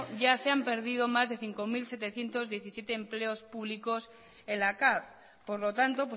ya se han perdido más de cinco mil setecientos diecisiete empleos públicos en la cav por lo tanto